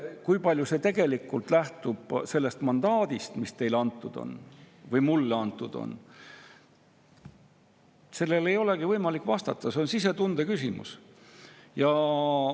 Kui palju see tegelikult lähtub sellest mandaadist, mis teile või mulle antud on, sellele ei olegi võimalik vastata, see on sisetunde küsimus.